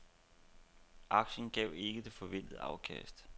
Aktien gav ikke det forventede afkast.